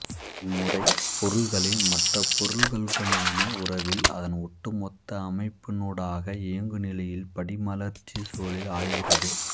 இம்முரை பொருள்களை மற்ர பொருள்களுடனான உறவில் அதன் ஒட்டுமொத்த அமைப்பினூடாக இயங்குநிலையில் படிமலர்ச்சிச் சூழலில் ஆய்கிறது